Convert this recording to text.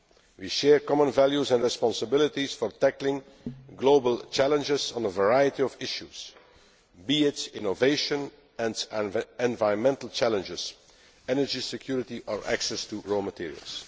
We share common values and responsibilities for tackling global challenges on a variety of issues, be it innovation and environmental challenges, energy security or access to raw materials.